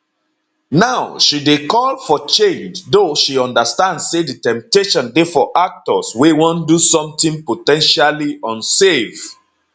now she dey call for change though she understand say di temptation dey for actors wey wan do somtin po ten tially unsafe